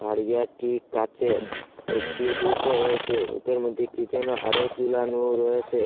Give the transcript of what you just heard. তারিয়াটি কাঁচের একটি হুকও রয়েসে হুকের মধ্যে কী যেন আরো ঝোলানো রয়েসে।